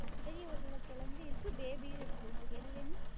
பெரிய உருளகெழங்கும் இருக்கு baby உம் இருக்கு உங்களுக்கு எது வேணும்?